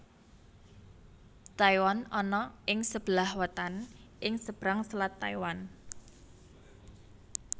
Taiwan ana ing sebelah wetan ing seberang Selat Taiwan